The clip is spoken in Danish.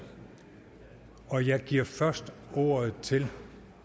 og jeg giver først ordet til